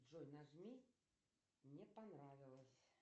джой нажми не понравилось